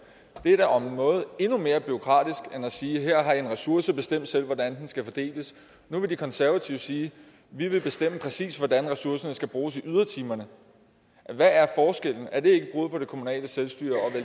det er da om noget endnu mere bureaukratisk end at sige her har i en ressource bestem selv hvordan den skal fordeles nu vil de konservative sige vi vil bestemme præcis hvordan ressourcerne skal bruges i ydertimerne hvad er forskellen er det ikke et brud på det kommunale selvstyre